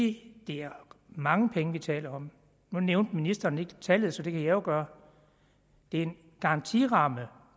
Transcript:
det er mange penge vi taler om nu nævnte ministeren ikke tallet så det kan jeg jo gøre det er en garantiramme